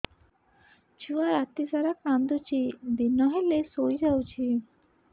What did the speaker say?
ଛୁଆ ରାତି ସାରା କାନ୍ଦୁଚି ଦିନ ହେଲେ ଶୁଇଯାଉଛି